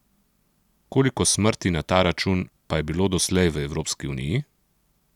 Koliko smrti na ta račun pa je bilo doslej v Evropski uniji?